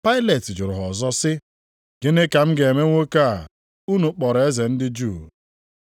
Pailet jụrụ ha ọzọ sị, “Gịnị ka m ga-eme nwoke a unu kpọrọ eze ndị Juu?”